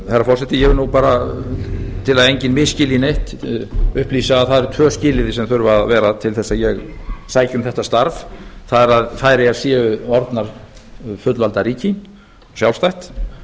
herra forseti ég vil nú bara til að enginn misskilji neitt upplýsa að það eru tvö skilyrði sem þurfa að vera til þess að ég sæki um þetta starf það er færeyjar séu orðnar fullvalda ríki sjálfstætt